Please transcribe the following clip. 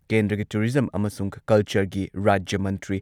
ꯀꯦꯟꯗ꯭ꯔꯒꯤ ꯇꯨꯔꯤꯖꯝ ꯑꯃꯁꯨꯡ ꯀꯜꯆꯔꯒꯤ ꯔꯥꯖ꯭ꯌ ꯃꯟꯇ꯭ꯔꯤ